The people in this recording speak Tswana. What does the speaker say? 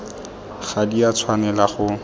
ga di a tshwanela go